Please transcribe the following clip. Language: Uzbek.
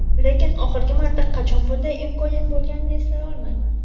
lekin oxirgi marta qachon bunday imkoniyat bo‘lganini eslay olmayman.